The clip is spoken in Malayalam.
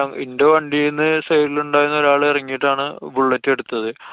ഇന്‍റെ വണ്ടിന്നു side ല് ഉണ്ടായിരുന്ന ഒരാള് എറങ്ങിട്ടാണ് bullet എടുത്തത്.